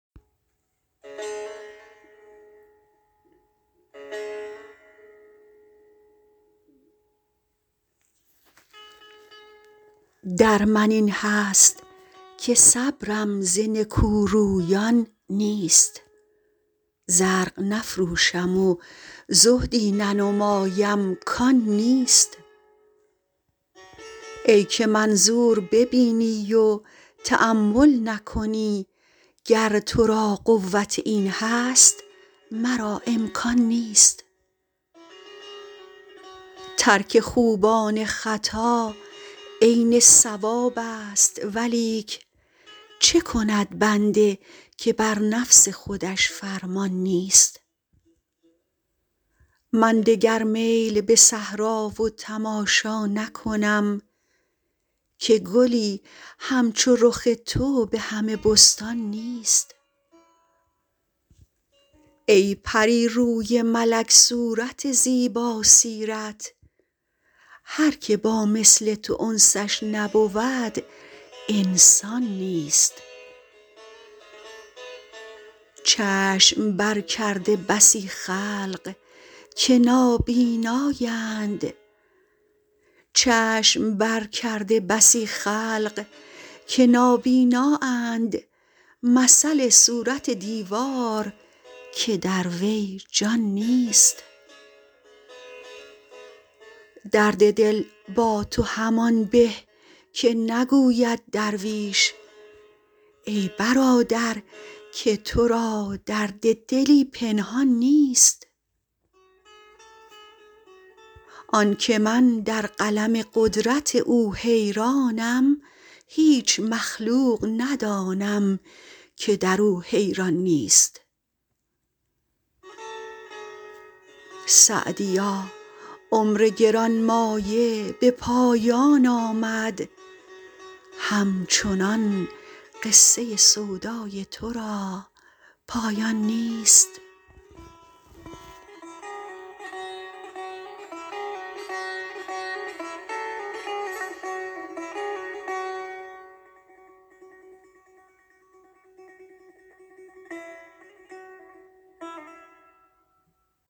در من این هست که صبرم ز نکورویان نیست زرق نفروشم و زهدی ننمایم کان نیست ای که منظور ببینی و تأمل نکنی گر تو را قوت این هست مرا امکان نیست ترک خوبان خطا عین صوابست ولیک چه کند بنده که بر نفس خودش فرمان نیست من دگر میل به صحرا و تماشا نکنم که گلی همچو رخ تو به همه بستان نیست ای پری روی ملک صورت زیباسیرت هر که با مثل تو انسش نبود انسان نیست چشم برکرده بسی خلق که نابینااند مثل صورت دیوار که در وی جان نیست درد دل با تو همان به که نگوید درویش ای برادر که تو را درد دلی پنهان نیست آن که من در قلم قدرت او حیرانم هیچ مخلوق ندانم که در او حیران نیست سعدیا عمر گران مایه به پایان آمد همچنان قصه سودای تو را پایان نیست